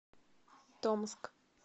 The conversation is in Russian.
томск